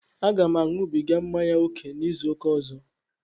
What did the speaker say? Aga m añubiga mmanya ókè n'izuụka ọzọ